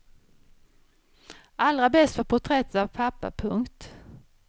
Allra bäst var porträttet av pappa. punkt